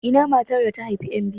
Ina matar da ta haifi yan biyu?